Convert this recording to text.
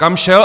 Kam šel?